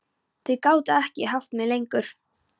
Þau gátu ekki haft mig lengur.